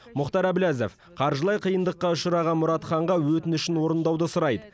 мұхтар әблязов қаржылай қиындыққа ұшыраған мұратханға өтінішін орындауды сұрайды